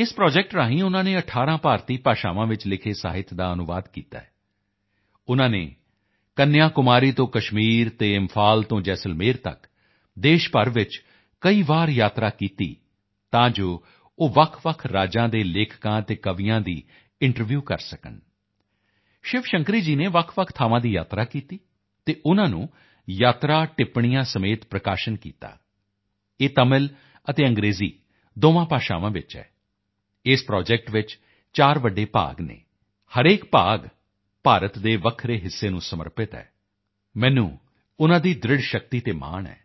ਇਸ ਪ੍ਰੋਜੈਕਟ ਰਾਹੀਂ ਉਨ੍ਹਾਂ ਨੇ 18 ਭਾਰਤੀ ਭਾਸ਼ਾਵਾਂ ਵਿੱਚ ਲਿਖੇ ਸਾਹਿਤ ਦਾ ਅਨੁਵਾਦ ਕੀਤਾ ਹੈ ਉਨ੍ਹਾਂ ਨੇ ਕੰਨਿਆਕੁਮਾਰੀ ਤੋਂ ਕਸ਼ਮੀਰ ਅਤੇ ਇੰਫਾਲ ਤੋਂ ਜੈਸਲਮੇਰ ਤੱਕ ਦੇਸ਼ ਭਰ ਵਿੱਚ ਕਈ ਵਾਰ ਯਾਤਰਾ ਕੀਤੀ ਤਾਂ ਜੋ ਉਹ ਵੱਖਵੱਖ ਰਾਜਾਂ ਦੇ ਲੇਖਕਾਂ ਅਤੇ ਕਵੀਆਂ ਦੀ ਇੰਟਰਵਿਊ ਲੈ ਸਕਣ ਸ਼ਿਵ ਸ਼ੰਕਰੀ ਜੀ ਨੇ ਵੱਖਵੱਖ ਥਾਵਾਂ ਦੀ ਯਾਤਰਾ ਕੀਤੀ ਅਤੇ ਉਨ੍ਹਾਂ ਨੂੰ ਯਾਤਰਾ ਟਿੱਪਣੀਆਂ ਸਮੇਤ ਪ੍ਰਕਾਸ਼ਿਤ ਕੀਤਾ ਇਹ ਤਮਿਲ ਅਤੇ ਅੰਗਰੇਜ਼ੀ ਦੋਵਾਂ ਭਾਸ਼ਾਵਾਂ ਵਿੱਚ ਹੈ ਇਸ ਪ੍ਰੋਜੈਕਟ ਵਿੱਚ ਚਾਰ ਵੱਡੇ ਭਾਗ ਹਨ ਹਰੇਕ ਭਾਗ ਭਾਰਤ ਦੇ ਵੱਖਰੇ ਹਿੱਸੇ ਨੂੰ ਸਮਰਪਿਤ ਹੈ ਮੈਨੂੰ ਉਨ੍ਹਾਂ ਦੀ ਦ੍ਰਿੜ੍ਹਤਾ ਸ਼ਕਤੀ ਤੇ ਮਾਣ ਹੈ